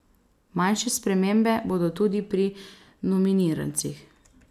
Manjše spremembe bodo tudi pri normirancih.